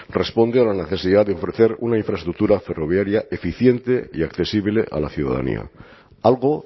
responde a la necesidad de ofrecer una infraestructura ferroviaria eficiente y accesible a la ciudadanía algo